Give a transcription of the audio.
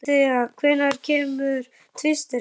Dorothea, hvenær kemur tvisturinn?